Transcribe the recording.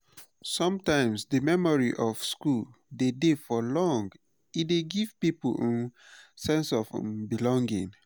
sometimes di memory of school de dey for long e dey give pipo um sense of um belonging